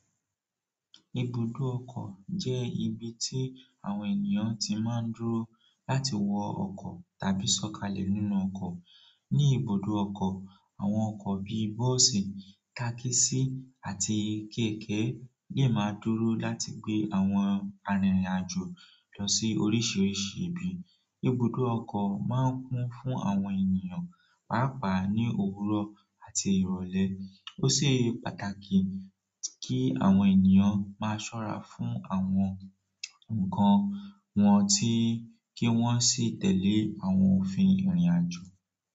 Ibùdó ọkọ̀ jẹ́ ibi tí àwọn ènìyàn ti máa ń dúró láti wọ ọkọ̀ tàbí sọ̀kalẹ̀ nínú ọkọ̀. Ní ibùdó ọkọ̀, àwọn ọkọ̀ bíi bọ́ọ̀sì, tákísí àti kéèké lè máa dúró láti gbé àwọn arìnrìn-àjò lọ sí oríṣìíríṣìí ibi. Ibùdó ọkọ̀ máa ń kún fún àwọn ènìyàn pàápàá ní òwúrọ̀ àti ìrọ̀lẹ́. Ó ṣe pàtàkì kí àwọn ènìyàn máa ṣọ́ra fún àwọn nǹkan wọn tí kí wọ́n sì tẹ̀lé àwọn òfin ìrìnàjò.